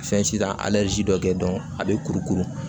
Fɛn si ta dɔ kɛ a bɛ kurukuru